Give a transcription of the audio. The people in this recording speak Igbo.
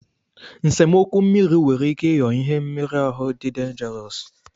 Nsemokwu mmiri nwere ike ịghọ ihe mmeru ahu dị denjarọsu.